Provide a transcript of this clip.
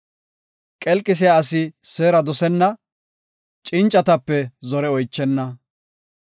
Qelqisiya asi seera dosenna; cincatape zore oychenna.